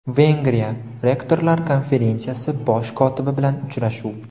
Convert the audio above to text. Vengriya rektorlar Konferensiyasi bosh kotibi bilan uchrashuv.